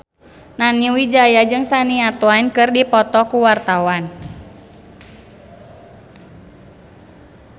Nani Wijaya jeung Shania Twain keur dipoto ku wartawan